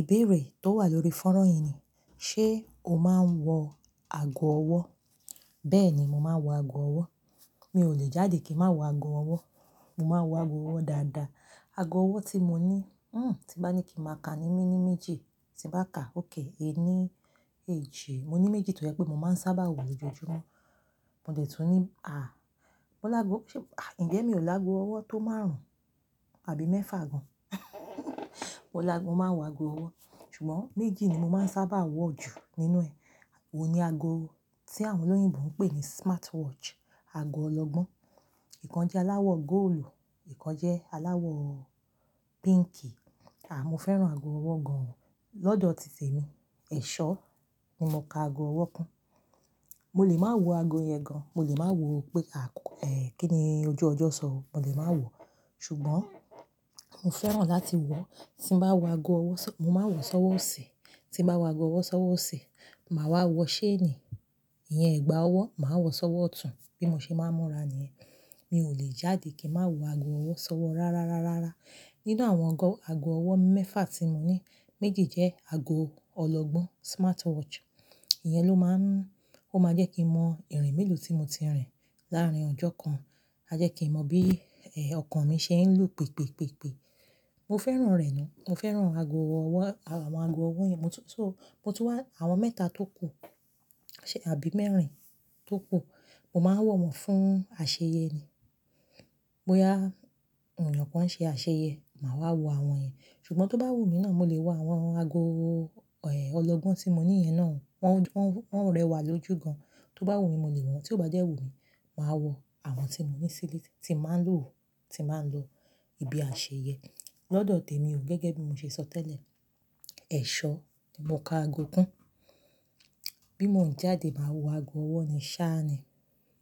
Ìbéèrè tó wà lórí fónrán yìí ni, ṣe o máa ń wọ ago ọwọ́? Bẹ́ẹ̀ni, mo máa ń wọ ago ọwọ́. Mi ò lè jáde kí má wọ ago ọwọ́. Mo máa wọ ago ọwọ́ dáadáa. Ago ọwọ́ tí mo ní, hmm, tí bá ní kí n máa ka ní mení méjì, tí bá ká ókè ẹ ní èjì. Mo ní méjì torí pé mo máa ń sábà wò lójoojúmọ́. Mo dẹ̀ tún ní, à, mo lágo, ṣé, à, ǹjẹ́ mi ò lágo ọwọ́ tó márùn-ún àbí mẹ́fà gan? Mo lágo, mo máa ń wọ ago ọwọ́. Ṣùgbọ́n méjì ni mo máa ń sábà wọ̀ jù nínú ẹ̀. Ó ní ago tí àwọn olóyìnbo ń pè ní smartwatch, ago ọlọ́gbọ́n. Ìkan jẹ́ aláwọ̀ góòlù, ìkan jẹ́ aláwọ̀ píǹkì. Àà, mo fẹ́ràn ago ọwọ́ gan. Lọ́dọ̀ tì temi, ẹ̀ṣọ́ ni mo ka ago ọwọ́ kún. Mo lè má wọ ago yẹn gan. Mo lè máa wọ pé, à, ẹ́, kí ni ojú ọjọ́ sọ, mo lè máa wo. Ṣùgbọ́n mo fẹ́ràn láti wọ, tí n bá wọ ago ọwọ́, mo máa wọ̀ sọ́wọ́ òsì. Ti n bá wọ ago ọwọ́ sọ́wọ́ òsì, màá wa wọ ṣéènì. Iyẹn, ẹ̀gbà ọwọ́, màá wọ sọ́wọ́ ọ̀tún bí mo ṣe máa ń múra ni yẹ́. Mi ò lè jáde kí máa wọ ago ọwọ́ sọ́wọ́ rárá, rárá, rárá. Nínú àwọn ago ọwọ́ mẹ́fà tí mo ní, méjì jẹ́ ago ọlọ́gbọ́n, smartwatch. Iyẹn ló máa ń-- ó máa jẹ́ kí n mọ ìrìn mílù tí mo ti rìn láàárín ọjọ́ kan. A jẹ́ kí n mọ bí, ẹ, ọkàn mi ṣe ń lù pèé, pèé, pèé, pèé. Mo fẹ́ràn rẹ̀ ná. Mo fẹ́ràn ago ọwọ́, àwọn ago ọwọ́ yẹn. Mo tún, mo tún wá àwọn mẹ́ta tó kù àbí mẹ́rin tó kù. Mo máa wọ̀ wọ̀n fún àṣeyẹ ni. Bóyá ènìyàn kan ṣe àṣeyẹ, màá wọ àwọn yẹ. Ṣùgbọ́n tó bá wù mí náà, mo lè wọ àwọn ago, ẹ́, ọlọ́gbọ́n tí mo ní yẹn náà. Wọ́n, wọ́n, wọ́n rẹwà lójú gan. Tó bá wù mí, mo lè wọ̀. Tí ó bá dẹ́ wù mí, màá wọ àwọn tí mo ní sílé tí máa ń lo, tí màá ń lo lo ibi àṣeyẹ. Lọ́dọ̀ tèmi o, gẹ́gẹ́ bí mo ṣe sọ tẹ́lẹ̀, ẹ̀ṣọ́ ni mo ka ago kún. Bí mo ń jáde máa wọ ago ọwọ́ ni sá ni.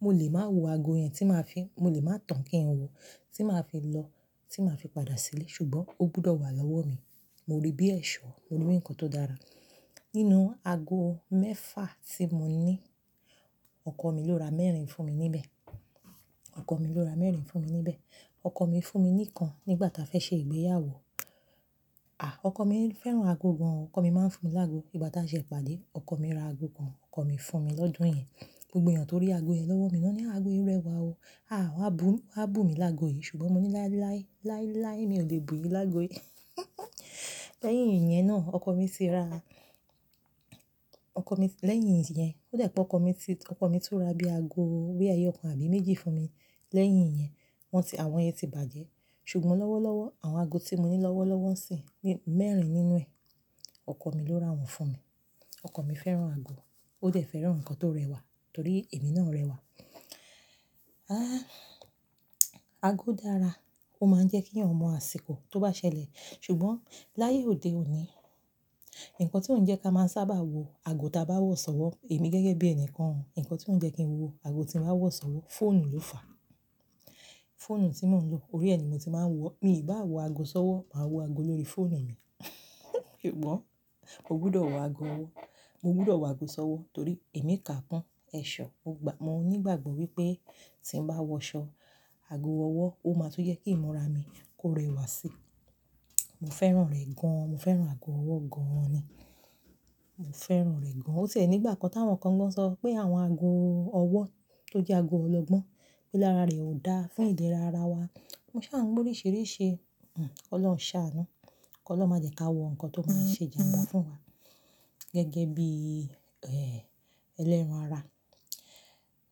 Mo lè máa wọ ago yẹn tí màá fi-- mo lè máa tán kínyẹn wọ, tí màá fi lọ, tí màá fi padà sílé. Ṣùgbọ́n ó gbọdọ̀ wà lọ́wọ́ mi. Mo rí bí ẹ̀ṣọ́, mo rí bí ǹkan tó dára. Nínú ago mẹ́fà tí mo ní, ọkọ mi ló ra mẹ́rin fún mi níbẹ̀. Ọkọ mi ló ra mẹ́rin fún mi níbẹ̀. Ọkọ mi fún mi ní ìkan nígbà tá a fẹ́ ṣe ìgbéyàwó. À, ọkọ mi ń fẹ́ràn ago gan. Ọkọ mi máa ń fún mi lágo. Nígbà tá a ṣe ìpàdé, ọkọ mi ra ago kan, ọkọ mi fún mi lọ́dún yẹn. Gbogbo èèyàn tó rí ago yẹn lọ́wọ́ mi náà ní, "Àgò yẹn rẹwà o. À, wàá bù, wà á bù mi lágo yìí." Ṣùgbọ́n mo ní, "Láí, láí, láí, láí, mi ò lè bù yí lágo yìí." Lẹ́yìn ìyẹn náà, ọkọ mi ti ra-- ọkọ mi, lẹ́yìn ìyẹn, ó jẹ̀ pé ọkọ mi ti, ọkọ mi tún ra bí ago boya eyọ kan àbí méjì fún mi. Lẹ́yìn ìyẹn, wọ́n ti, àwọn yẹn ti bàjẹ́. Ṣùgbọ́n lọ́wọ́lọ́wọ́, àwọn ago tí mo ní lọ́wọ́lọ́wọ́ sì ní mẹ́rin nínú ẹ. Ọkọ mi ló ra wọn fún mi. Ọkọ mi fẹ́ràn ago. Ó dẹ̀ fẹ́ràn ǹkan tó rẹwà torí èmi náà rẹwà. Ah, ago dára. Ó máa ń jẹ́ kí ẹ̀yàn mọ àsìkò tó bá ṣẹlẹ̀. Ṣùgbọ́n láyé òde òní, ǹkan ti ó ń jẹ́ ká máa ń sábà wọ ago tí a bá wọ̀ sọ́wọ́, èmi gẹ́gẹ́ bí ẹni kan, ǹkan ti ó ń jẹ́ kí n wọ ago tí bàá wọ̀ sọ́wọ́, fóònù ló fàá. Fóònù tí mò ń lò, orí ẹ ni mo ti máa ń wọ. Mi ò bá wọ ago sọ́wọ́, màá wọ ago lórí fóònù mi. Sugbọn, mo gbọdọ̀ wọ ago ọwọ́. Mo gbọdọ̀ wọ ago sọwọ́ torí èmi kà kún ẹ̀ṣọ́. Mo ní ìgbàgbọ́ wípé tí n bá wọṣọ ago ọwọ́, ó máa tún jẹ́ kí ìmúra mi kó rẹwà síi. Mo fẹ́ràn rẹ̀ gan an. Mo fẹ́ràn ago ọwọ́ gan-an ni. Mo fẹ́ràn rẹ̀ gan. Ó tẹ̀ nígbà kan tí àwọn kan gan sọ pé àwọn ago ọwọ́ tó jẹ́ ago ọlọ́gbọ́n pé lára rẹ̀ ò dá fún ìlera ara wa. Mo ṣa n, gbó orisirisi. Ọlọ́run ṣà á nu. Ọlọ́run máa jẹ́ ká wọ ǹkan tó máa ṣe ìjànbá fún wa. Gẹ́gẹ́ bí, ẹ́, ẹlẹ́ran ara.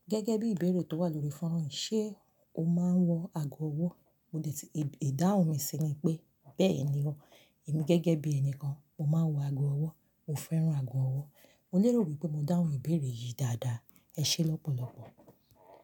Gẹ́gẹ́ bí ìbéèrè tó wà lórí fónrán, ṣe o máa ń wọ ago ọwọ́? Mo dẹ ti ìdáhùn mi sí i ni pé, bẹ́ẹ̀ni o, èmi gẹ́gẹ́ bí ẹni kan, mo máa ń wọ ago ọwọ́. Mo fẹ́ràn ago ọwọ́. Mo lérò wípé mo dáhùn ìbéèrè yìí dáadáa. Ẹ ṣé lọ́pọ̀lọpọ̀.